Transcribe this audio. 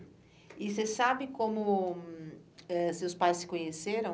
E você sabe como eh seus pais se conheceram?